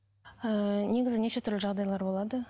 ііі негізі неше түрлі жағдайлар болады